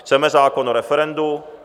Chceme zákon o referendu.